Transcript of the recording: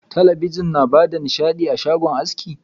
Talabijin na bada nishaɗi a shagon aski.